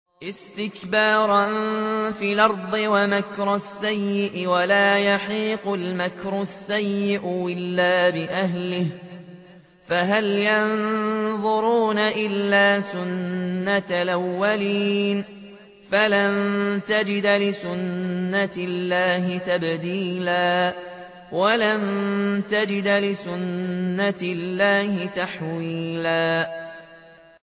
اسْتِكْبَارًا فِي الْأَرْضِ وَمَكْرَ السَّيِّئِ ۚ وَلَا يَحِيقُ الْمَكْرُ السَّيِّئُ إِلَّا بِأَهْلِهِ ۚ فَهَلْ يَنظُرُونَ إِلَّا سُنَّتَ الْأَوَّلِينَ ۚ فَلَن تَجِدَ لِسُنَّتِ اللَّهِ تَبْدِيلًا ۖ وَلَن تَجِدَ لِسُنَّتِ اللَّهِ تَحْوِيلًا